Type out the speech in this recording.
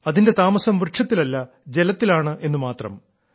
അതിന്റെ താമസം വൃക്ഷത്തിലല്ല ജലത്തിലാണെന്നു മാത്രം